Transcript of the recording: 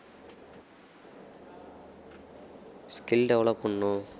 skill develop பண்ணனும்